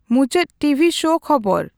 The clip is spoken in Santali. ᱢᱩᱪᱟᱹᱫ ᱴᱤ ᱹ ᱵᱷᱤ ᱹ ᱥᱳ ᱠᱷᱚᱵᱚᱨ